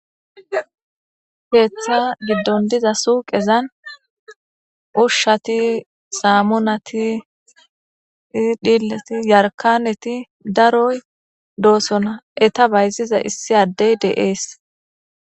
Keeththa giddon diza suuqezan ushshati, saamunati, dhilati, yarkaneti, daroy doosona. Enta bayziza issi addey de7ees.